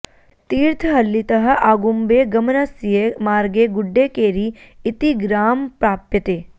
तीर्थहळ्ळितः आगुम्बे गमनस्य मार्गे गुड्डेकेरि इति ग्राम प्राप्यते